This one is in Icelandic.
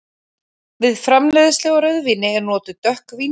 Við framleiðslu á rauðvíni eru notuð dökk vínber.